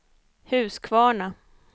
Huskvarna